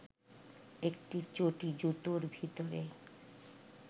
একটি চটি-জুতোর ভিতরে